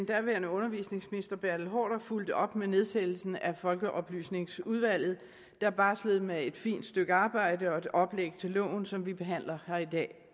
daværende undervisningsminister herre bertel haarder fulgte op med nedsættelsen af folkeoplysningsudvalget der barslede med et fint stykke arbejde og et oplæg til loven som vi behandler her i dag